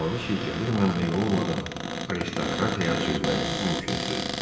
Ejen anladı ki, gəlir mənbəyi olmadan aristokrat həyat sürmək mümkünsüzdür.